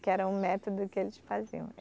Que era um método que eles faziam.